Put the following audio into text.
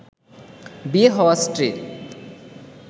বিয়ে হওয়া স্ত্রীর